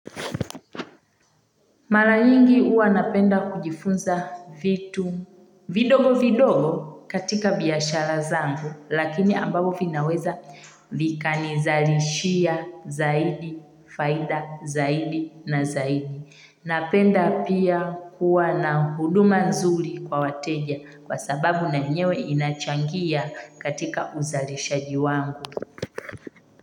Mara nyingi uwa napenda kujifunza vitu vidogo vidogo katika biashara zangu lakini ambavyo vinaweza vika nizalishia zaidi, faida zaidi na zaidi. Napenda pia kuwa na huduma nzuri kwa wateja kwa sababu na yenyewe inachangia katika uzalishaji wangu.